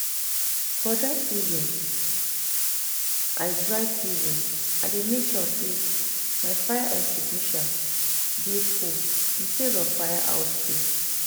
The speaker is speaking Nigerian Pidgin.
for dry season I dey mek sure say my fire extinguisher dey full incase of fire outbreak